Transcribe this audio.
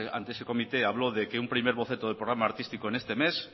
ante ese comité hablo de que un primer boceto del programa artístico en este mes